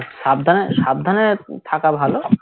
সাবধানে সাবধানে থাকা ভালো